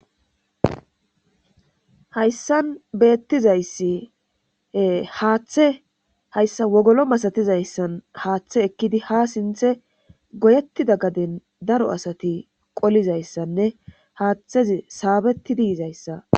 hayssan beettizayssi haaththe hayssa wogolo masatizayssan haaththe ekkidi ha sinthe goyettida gaden daro asati qolizayssanne haaththezi saabettidiizayssa